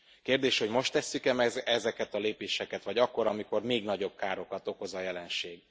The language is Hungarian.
Kérdés, hogy most tesszük e meg ezeket a lépéseket vagy akkor, amikor még nagyobb károkat okoz a jelenség.